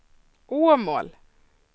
Åmål